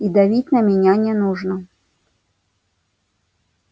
и давить на меня не нужно